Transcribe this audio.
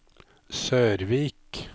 Sørvik